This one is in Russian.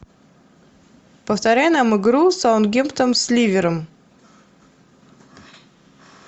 повторяй нам игру саутгемптон с ливером